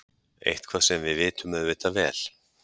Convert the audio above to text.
Eitthvað sem við vitum auðvitað vel.